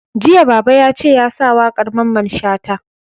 Jiya Baba yace ya sa waƙar Mamman Shata!